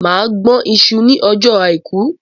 Mà á gbọn iṣu ní ọjọ́ àìkú.